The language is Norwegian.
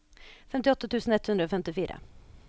femtiåtte tusen ett hundre og femtifire